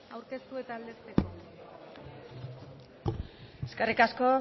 aurkeztu eta aldezteko eskerrik asko